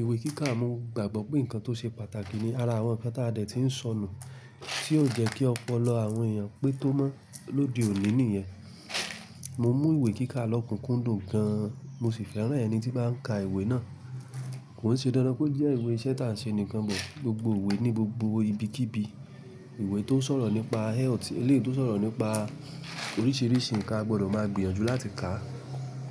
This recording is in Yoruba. ìwé kíkà mo gbàgbọ́ pé nǹkan tó ṣe pàtàkì ní ara àwọn nnkan tí a dẹ̀ ti ń sọ nu tí yóò jẹ́ kí ọpọlọ àwọn èèyàn pé tó mọ́ lóde òní nìyẹn. Mo mú ìwé kíkà lọ́kùnkúndùn gan. Mo sì fẹ́ràn ẹni tí bá ń ka ìwé náà. Kò sí dandan pé ó jẹ́ ìwé iṣẹ́ tí à ń ṣe nìkan bọ̀. Gbogbo ìwé ní gbogbo ibikíbi, ìwé tó ń sọ̀rọ̀ nípa health, eléyìí tó ń sọ̀rọ̀ nípa oríṣiríṣi nǹkan a gbọdọ̀ máa gbìyànjú láti kà.